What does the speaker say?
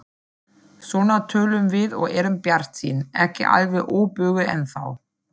Svona tölum við og erum bjartsýn, ekki alveg óbuguð ennþá.